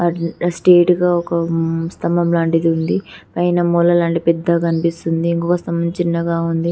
-- straight గా ఒక స్తంభం లాంటిది ఉంది పైన మూల లాంటిది పెద్దది కనిపిస్తుంది ఇంకొక స్తంభం చిన్నగా ఉంది